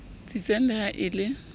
tsitsang le ha e le